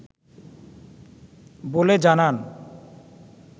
বলে জানান